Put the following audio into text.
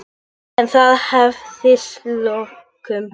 En það hafðist að lokum.